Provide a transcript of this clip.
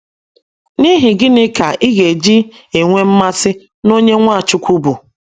N’ihi gịnị ka ị ga - eji nwee mmasị n’onye Nwachukwu bụ?